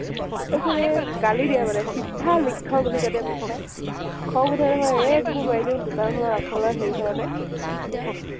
তাৰপিছতে গালি দিয়ে মানে চিধা লিক্ধ বুলি কয় দেই । খং উঠে নহয়, এক গুৰ মাৰি দিও দোকান খনৰ আগ্ফালৰ হেৰি খনতে চব